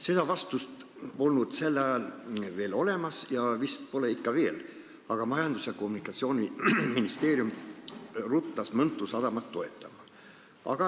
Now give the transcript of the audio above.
Seda vastust polnud sel ajal veel olemas ja vist pole siiani, aga Majandus- ja Kommunikatsiooniministeerium ruttas Mõntu sadamat toetama.